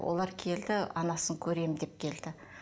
олар келді анасын көремін деп келді